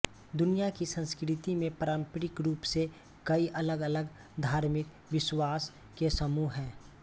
दुनिया की संस्कृति में पारंपरिक रूप से कई अलगअलग धार्मिक विश्वास के समूह हैं